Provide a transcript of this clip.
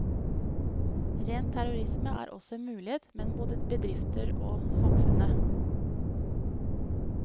Ren terrorisme er også en mulighet, både mot bedrifter og samfunnet.